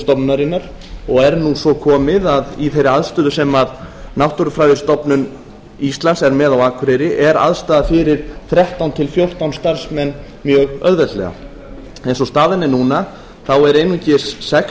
stofnunarinnar og er nú svo komið að í þeirri aðstöðu sem náttúrufræðistofnun íslands er með á akureyri er aðstaða fyrir þrettán til fjórtán starfsmenn mjög auðveldlega eins og staðan er núna þá eru einungis sex